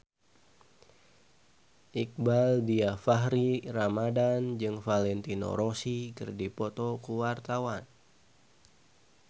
Iqbaal Dhiafakhri Ramadhan jeung Valentino Rossi keur dipoto ku wartawan